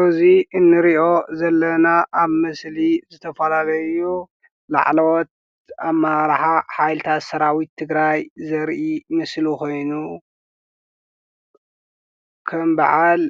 እዚ ንሪኦ ዘለና ኣብ ምስሊ ዝተፈላለዩ ላዕለዎት ኣመራርሓ ሓይልታት ሰራዊት ትግራይ ዘርኢ ምስሊ ኾይኑ ከም በዓል